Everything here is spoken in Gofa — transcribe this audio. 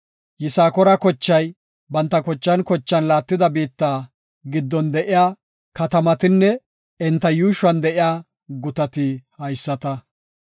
Yisakoora kochay banta kochan kochan laattida biitta giddon de7iya katamatinne enta yuushuwan de7iya gutati haysata.